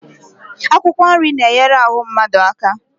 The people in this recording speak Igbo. Akwụkwọ nri na-enyere ahụ mmadụ aka